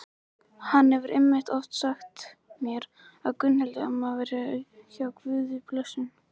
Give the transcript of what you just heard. Hann hefur einmitt oft sagt mér að Gunnhildur amma væri hjá Guði blessunin.